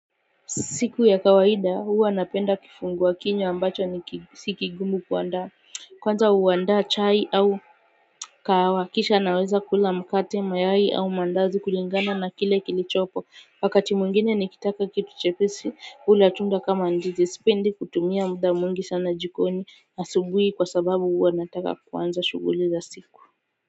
Siku ya kawaida huwanapenda kifungua kinywa ambacho si kigumu kuandaa. Kwanza huandaa chai au kahawa, kisha naweza kula mkate, mayai au maandazi kulingana na kile kilichopo. Wakati mwingine nikitaka kitu chepesi, hula tunda kama ndizi. Sipendi kutumia muda mwingi sana jikoni asubuhi kwa sababu huwa nataka kuanza shughuli za siku.